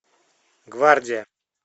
гвардия